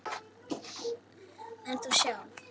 En þú sjálf?